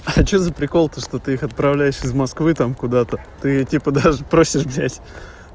а что за прикол то что ты их отправляешь в москвы там куда-то ты типа даже просишь взять